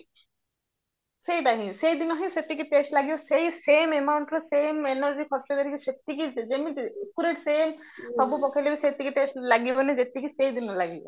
ସେଇଟା ହିଁ ସେଇଦିନ ହିଁ ସେତିକି test ଲାଗିବ ସେଇ same amountର same energy ଖର୍ଚ କରିକି ସେତିକି ଯେମିତି ପୁରା same ସବୁ ପକେଇଲେବି ସେତିକି test ଲାଗିବାନି ଯେତିକି ସେଇଦିନ ଲାଗିବ